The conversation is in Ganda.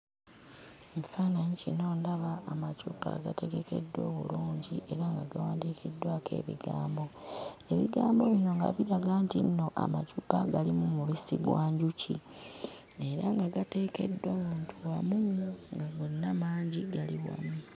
Ekifaananyi kino ndaba amacupa agategekeddwa obulungi era nga gawandiikiddwako ebigambo. Ebigambo bino nga biraga nti nno amacupa galimu mubisi gwa njuki, era nga gateekeddwa wantu wamu nga gonna mangi, gali wamu.